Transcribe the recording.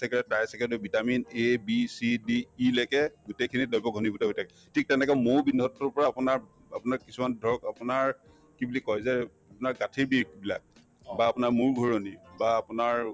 saccharide trisaccharide এই vitamin A, B, C, D, E লৈকে গোটেইখিনি দ্ৰৱ ঘণীভূত হৈ থাকে ঠিক তেনেকে মৌৰ বিন্ধতোৰ পৰা আপোনাৰ আপোনাৰ কিছুমান ধৰক আপোনাৰ কি বুলি কই যে আপোনাৰ গাঁঠিৰ বিষবিলাক বা আপোনাৰ মূৰ ঘূৰণি বা আপোনাৰ